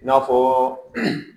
I n'a fɔ